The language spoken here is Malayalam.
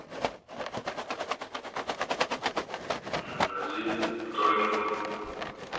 അന്നാ ഇജ്ജ് തുടങ്ങിക്കോ